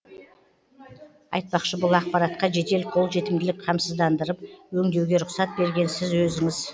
айтпақшы бұл ақпаратқа жедел қолжетімділік қамсыздандырып өңдеуге рұқсат берген сіз өзіңіз